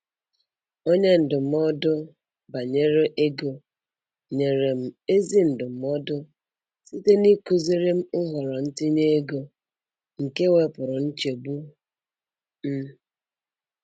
Onye ndụmọdụ banyere ego nyere m ezi ndụmọdụ site n’ịkụziri m nhọrọ ntinye ego, nke wepụrụ nchegbu m.